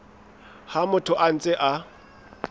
ha motho a ntse a